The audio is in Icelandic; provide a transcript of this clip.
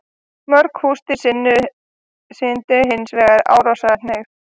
Mörg húsdýr sýndu hins vegar árásarhneigð.